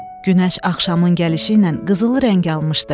Günəş axşamın gəlişi ilə qızılı rəng almışdı.